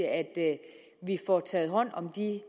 at vi får taget hånd om de